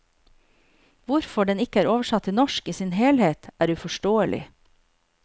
Hvorfor den ikke er oversatt til norsk i sin helhet, er uforståelig.